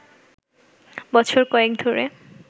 বছর কয়েক ধরে